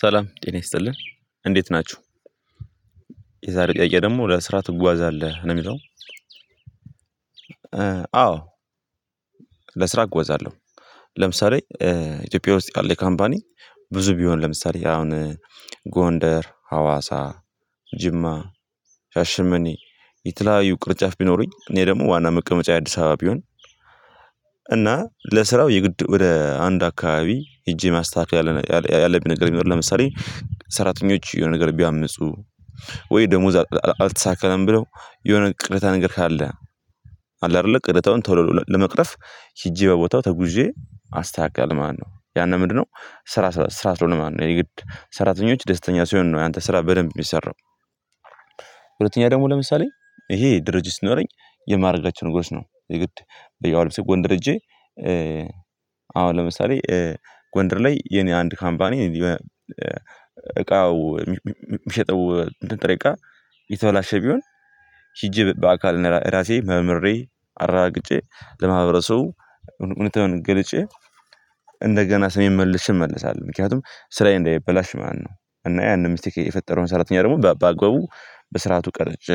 ሰላም ጤና ይስጥልን እንዴት ናችሁ የዛሬ ቀየ ደግሞ ወደ ስራ ትጓዛለህ ነው የሚለው አዎ ለስራ እጎዛለሁ ለምሳሌ ኢትዮጵያ ውስጥ ያለ ካምፓኒ ብዙ ቢሆን ለምሳሌ አሁን ጎንደር ፥ሀዋሳ፥ ጅማ ፥ሻሽመኔ የተለያዩ ቅርጫፍ ቢኖሩኝ እኔ ደግሞ ዋና መቀመጫ የአዲስ አበባ ቢሆን እና ለስራው የግድ ወደ አንድ አካባቢ ሂጄ ማስታካከል ማስተካከል ያለብኝ ነገር የሚኖር ለምሳሌ ሰራተኞች የሆነ ነገር ቢያምፁ ወይ ደሞዝ አልተስተካከለም ብለው የሆነ ቅሬታ ነገር ካለ አለ አይደለ ቅሬታውን ቶሎ ለመቅረፍ ሂጄ በቦታው ተጉዤ አስተካክላለሁ ማለት ነው። ያንን ምንድነው ስራ ስራ ስለሆነ ማለት ነው። የግድ ሰራተኞች ደስተኛ ሲሆን ነው ያንተ ስራ በደንብ የሚሰራው ሁለተኛ ደግሞ ለምሳሌ ይሄ ድርጅት ሲኖረኝ የማደርጋቸው ነገሮች ነው የግድ ለምሳሌ ጎንደር ሂጄ አሁን ለምሳሌ ጎንደር ላይ የኔ አንድ ካምፓኒ እቃው የሚሸጠው እንትን ጥሬ እቃ የተበላሸ ቢሆን ሂጂ በአካል ራሴ መርምሬ አረጋግጬ ለማህበረሰቡ እውነታውን ገልጬ እንደገና ስሜን መልሸ እመለሳለሁ ምክንያቱም ስራዬ እንዳይበላሽ ማለት ነው። እና ያንን ሚስቴክ የፈጠረውን ሰራተኛ ደግሞ በአግባቡ በስርዓቱ ቀርጬ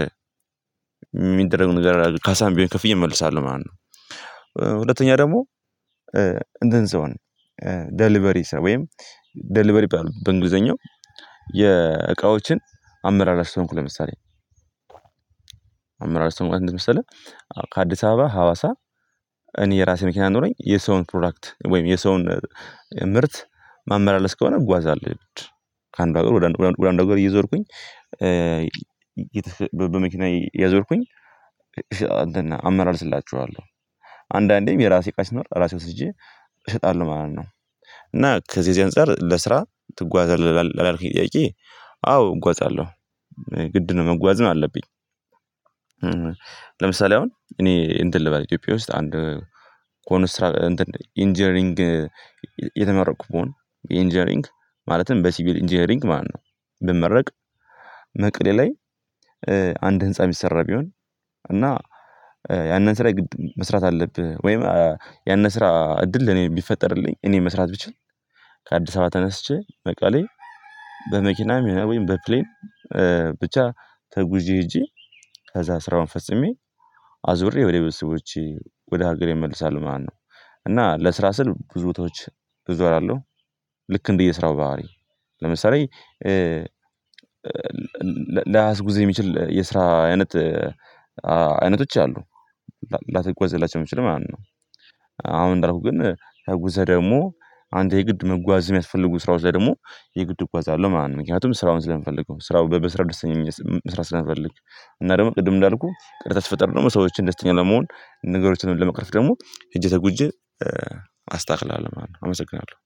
የሚደረገውን ካሳም ቢሆን ከፍየ እመልሳለሁ ማለት ነው ሁለተኛ ደግሞ እንትን ሰው ደሊበሪ ወይም ደሊበሪ በእንግሊዘኛው የእቃዎችን አመራር አሰብኩ ለምሳሌ አመርር አሰብኩ ምን መሰለህ ከአዲስ አበባ ሀዋሳ እኔ የራሴ መኪና ኖሮኝ የሰውን ፕሮዳክት ወይም የሰውን ምርት ማመላለስ ከሆነ እጓዛለሁ የግድ ከአንዱ ሀገር ወደ አንዱ ሀገር እየዞርኩኝ በመኪና እየዞርኩኝ እንትን አመላልስላቸዋለሁ አንዳንዴም የራሴ እቃ ሲኖር ራሴ ወስጄ እሸጣለሁ። ማለት ነው እና ከዚህ ከዚህ አንፃር ለስራ ትጓዛለህ ላልከኝ ጥያቄ አዎ እጓዛለሁ የግድ ነው መጓዝም አለብኝ ለምሳሌ አሁን እኔ እንትን ልበል ኢትዮጵያ ውስጥ አንድ ኮንስትራቭ ኢንጂነሪንግ የተመረቅሁ ብሆን የኢንጂነሪንግ ማለትም በሲቪል ኢንጂነሪንግ ማነው ብመረቅ መቅደላ አንድ ህንፃ የሚሰራ ቢሆን እና ያንን ስራ የግድ መስራት አለብህ ወይም ያንን ስራ እድል እኔ ቢፈጠርልኝ እኔ መስራት ብችል ከአዲስ አበባ ተነስቼ በቃሌ በመኪናም ይሆናል ወይም በፕሌን ብቻ ተጉዢ ሄጂ ከዛ ስራውን ፈጽሜ አዙሬ ወደ ቤተሰቦቸ ወደ ሀገሬ እመለሳለሁ ማለት ነው እና ለስራ ስል ብዙ ቦታዎች እዞራለሁ ልክ እንደየ ስራው ባህሪ ለምሳሌ ላያስጉዝ የሚችል የስራ አይነት አይነቶች አሉ ላትጓዝላቸው የምችለው ማለት ነው አሁን እንዳልኩህ ግን ተጉዘህ ደግሞ አንተ የግድ መጓዝ የሚያስፈልጉ ስራዎች ላይ ደግሞ የግድ እጓዛለሁ ማለት ነው ምክንያቱም ስራውን ስለፈልገው ስራው በስራው ደስተኛ መስራት ስለፈልግ እና ደግሞ ቅድም እንዳልኩህ ቅሬታ ሲፈጠር ደግሞ ሰዎችን ደስተኛ ለመሆን ነገሮችን ለመቅረፍ ደግሞ ሄጄ ተጉዥ አስተካክላለሁ ማለት ነው አመሰግናለሁ